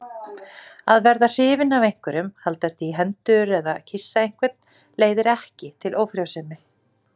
Að verða hrifinn af einhverjum, haldast í hendur eða kyssa einhvern leiðir ekki til ófrjósemi.